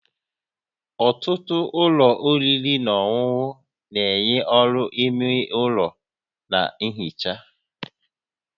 Ọtụtụ ụlọ oriri na ọṅụṅụ na-enye ọrụ-ime ụlọ na nhicha